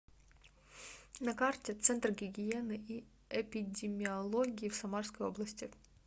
на карте центр гигиены и эпидемиологии в самарской области